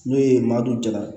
N'o ye maa dɔ jalan